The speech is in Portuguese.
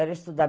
Era estudar.